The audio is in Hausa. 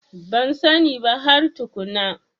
Ban sani ba har tukunna.